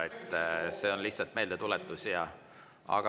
See oli lihtsalt meeldetuletus.